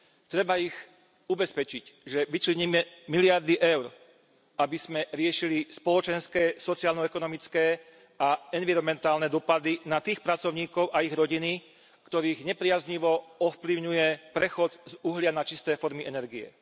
Treba ich ubezpečiť, že vyčleníme miliardy eur, aby sme riešili spoločenské, sociálno ekonomické a environmentálne dôsledky pre tých pracovníkov a ich rodiny, ktorých nepriaznivo ovplyvňuje prechod z uhlia na čisté formy energie.